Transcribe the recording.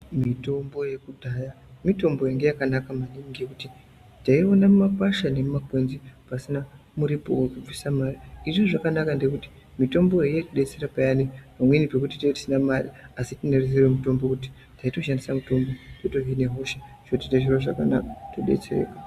Mitombo yekudhaya mitombo yanga yakanaka maningi ngekuti tayiona mumakwasha nemumakwenzi pasina muripo wekubvisa mare izvizvi zvakanaka ngekuti mitombo iyi yaitidetsera paya patinenge tisina mare asi tinoziya mitombo taitishandisa mitombo totohina hosha todetsera .